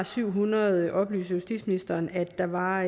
syv hundrede oplyser justitsministeren at der var